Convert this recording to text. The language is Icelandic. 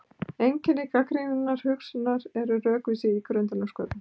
Einkenni gagnrýninnar hugsunar eru rökvísi, ígrundun og sköpun.